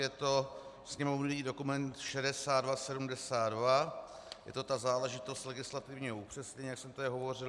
Je to sněmovní dokument 6272, je to ta záležitost legislativního upřesnění, jak jsem tady hovořil.